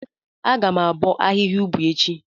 Agam abo ahihia ubi echi.